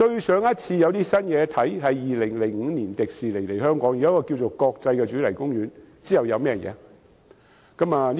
上次有新事物是2005年迪士尼樂園來港，興建了一個國際主題公園，之後還有甚麼？